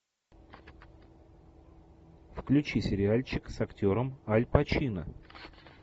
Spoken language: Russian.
включи сериальчик с актером аль пачино